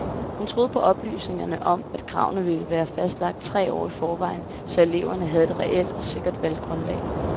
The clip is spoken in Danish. Hun troede på oplysningerne om, at kravene ville være fastlagt tre år i forvejen, så eleverne havde et reelt og sikkert valggrundlag.